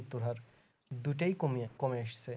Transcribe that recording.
দুটাই কমিয়া কমে এসেছে